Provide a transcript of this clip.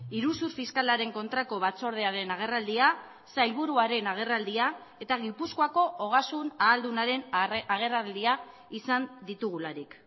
iruzur fiskalaren kontrako batzordearen agerraldia sailburuaren agerraldia eta gipuzkoako ogasun aldunaren agerraldia izan ditugularik